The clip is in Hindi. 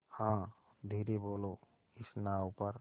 हाँ धीरे बोलो इस नाव पर